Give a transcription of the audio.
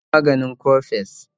ya sha maganin coffex